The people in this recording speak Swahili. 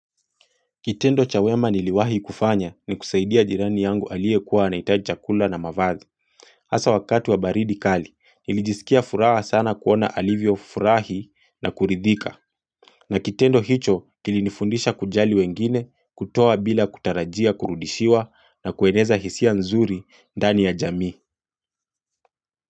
Kitendo cha wema niliwahi kufanya ni kusaidia jirani yangu aliyekuwa anahitaji chakula na mavazi. Hasa wakati wa baridi kali, nilijisikia furaha sana kuona alivyofurahi na kuridhika. Na kitendo hicho kilinifundisha kujali wengine kutoa bila kutarajia kurudishiwa na kueneza hisia nzuri dani ya jamii.